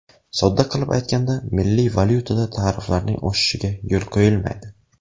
Sodda qilib aytganda, milliy valyutada tariflarning oshishiga yo‘l qo‘yilmaydi.